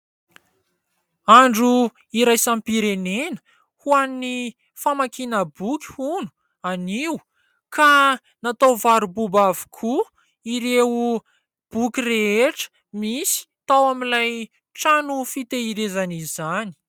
Andro iraisam-pirenena ho an'ny famakiana boky hono anio ka natao varo-boba avokoa ireo boky rehetra misy tao amin'ilay trano fitahirizana izany.